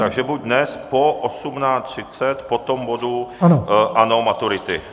Takže buď dnes po 18.30, po tom bodu ANO - maturity.